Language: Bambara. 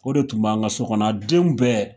O de tun b'an ka so kɔnɔna a denw bɛɛ!